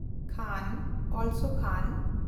ᱠᱟᱦᱱ (ᱠᱷᱟᱱ ᱦᱚᱸ)